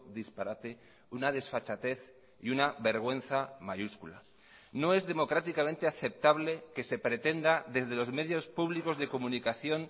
disparate una desfachatez y una vergüenza mayúscula no es democráticamente aceptable que se pretenda desde los medios públicos de comunicación